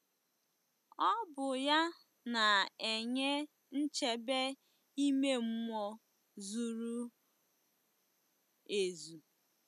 Ọ bụ ya na-enye nchebe ime mmụọ zuru ezu.